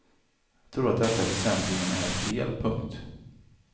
Jag tror att detta väsentligen är fel. punkt